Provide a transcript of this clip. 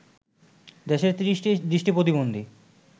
দেশের ৩০টি দৃষ্টি প্রতিবন্ধী